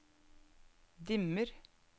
dimmer